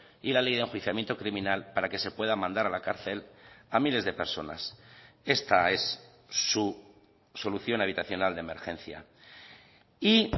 y la ley de enjuiciamiento criminal para que se pueda mandar a la cárcel a miles de personas esta es su solución habitacional de emergencia y